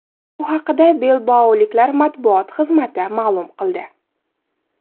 Bu haqda bilbaoliklar matbuot xizmati ma’lum qildi .